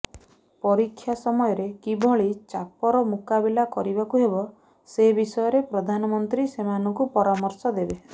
ପରୀକ୍ଷା ସମୟରେ କିଭଳି ଚାପର ମୁକାବିଲା କରିବାକୁ ହେବ ସେ ବିଷୟରେ ପ୍ରଧାନମନ୍ତ୍ରୀ ସେମାନଙ୍କୁ ପରାମର୍ଶ ଦେବେ